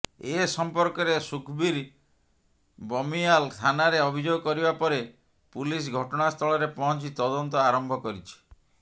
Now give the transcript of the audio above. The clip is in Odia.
ଏ ସମ୍ପର୍କରେ ସୁଖବୀର ବମିୟାଲ ଥାନାରେ ଅଭିଯୋଗ କରିବା ପରେ ପୁଲିସ ଘଟଣାସ୍ଥଳରେ ପହଞ୍ଚି ତଦନ୍ତ ଆରମ୍ଭ କରିଛି